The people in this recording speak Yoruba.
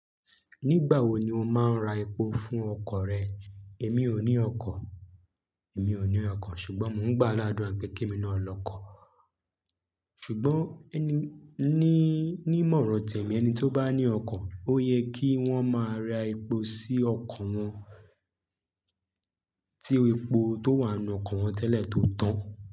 Nígbà wo ni o máa ń ra epo fún ọkọ̀ rẹ? Èmi ò ní ọkọ̀, èmi ò ní ọkọ̀ ṣùgbọ́n mò ń gbá aládua pe kè mi náà lọ́kọ. Ṣùgbọ́n ẹni ní, ní ìmọ̀ràn tẹ̀mi ẹni tí ó bá ní ọkọ̀, ó yẹ kí wọ́n máa ra epo sí ọkọ̀ wọn, tí epo tó wà nínú ọkọ̀ wọn tẹ́lẹ̀ tó tán.